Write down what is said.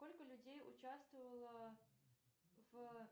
сколько людей участвовало в